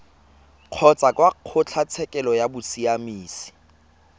kgotsa kwa kgotlatshekelo ya bosiamisi